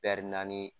naani